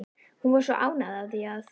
Hún var svo ánægð af því að